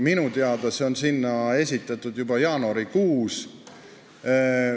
Minu teada see on sinna esitatud juba jaanuarikuus.